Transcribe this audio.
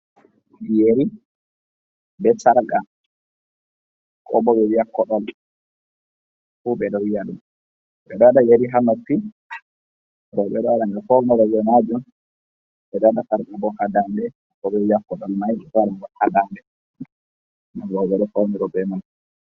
Yeri bee "sarƙa" koo bo ɓe wi'a koɗol fuu ɓe ɗo wi'a ɗum. Ɓe ɗo waɗa yeri haa noppi rowɓe ɗo waɗa nga fawnoro bee maajum. Ɓe ɗo waɗa "sarƙa" ha daande, koo bo wi'a koɗol may "sarƙa" ha daande rowɓe ɗo fawnoro bee may.